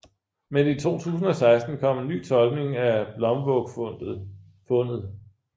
Men i 2016 kom en ny tolkning af Blomvågfundet